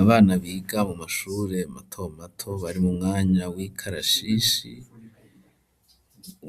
Abana biga mu mashure mato mato bari mu mwanya w'ikarashishi